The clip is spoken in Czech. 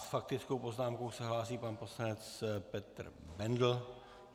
S faktickou poznámkou se hlásí pan poslanec Petr Bendl.